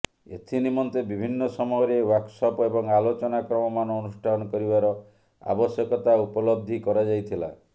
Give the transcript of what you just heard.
ଏଥି ନିମନ୍ତେ ବିଭିନ୍ନ ସମୟରେ ୱର୍କସପ୍ ଏବଂ ଆଲୋଚନା ଚକ୍ର ମାନ ଅନୁଷ୍ଠାନ କରିବାର ଆବଶ୍ୟକତା ଉପଲବ୍ଧି କରାଯାଇଥିଲା